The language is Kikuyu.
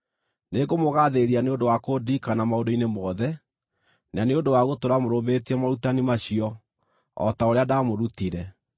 Nĩngũmũgaathĩrĩria nĩ ũndũ wa kũndirikana maũndũ-inĩ mothe, na nĩ ũndũ wa gũtũũra mũrũmĩtie morutani macio, o ta ũrĩa ndaamũrutire.